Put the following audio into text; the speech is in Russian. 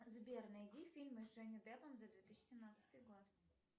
сбер найди фильмы с джонни деппом за две тысячи семнадцатый год